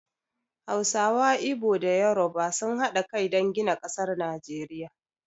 Hausawa, Igbo da Yoruba sun haɗa kai dan gina ƙasar Najeriya